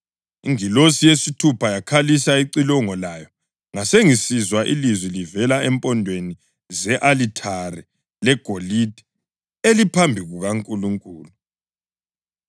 Ingilosi yesithupha yakhalisa icilongo layo ngasengisizwa ilizwi livela empondweni ze-alithare legolide eliphambi kukaNkulunkulu.